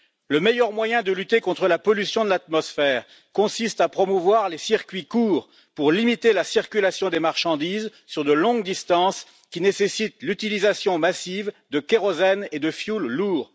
Le meilleur moyen de lutter contre la pollution de l'atmosphère consiste à promouvoir les circuits courts pour limiter la circulation des marchandises sur de longues distances, qui nécessite l'utilisation massive de kérosène et de fioul lourd.